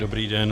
Dobrý den.